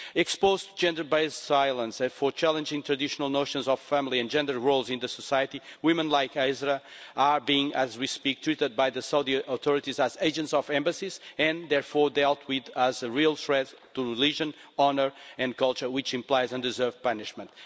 Exposed to gender based violence and for challenging traditional notions of family and gender roles in society, women like Israa, are being, as we speak, treated by the Saudi authorities as agents of embassies and therefore dealt with as a real threat to religion, honour and culture, which implies undeserved punishment.